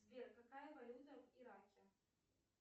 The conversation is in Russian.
сбер какая валюта в ираке